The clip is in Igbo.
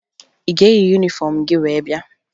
Ị ga-eyi yunifọmụ gị wee bịa?